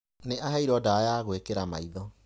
Nĩ aheirwo ndawa ya gwĩkira maitho.